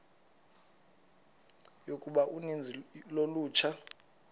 yokuba uninzi lolutsha